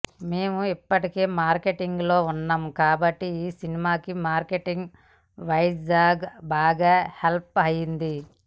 మేం ఇప్పటికే మార్కెటింగ్లో ఉన్నాం కాబట్టి ఈ సినిమాకి మార్కెటింగ్ వైజ్గా బాగా హెల్ప్ అయ్యింది